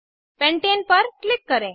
pentane पर click करें